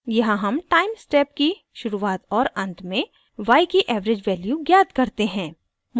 यहाँ हम time step की शुरुआत और अंत में y की एवरेज वैल्यू ज्ञात करते हैं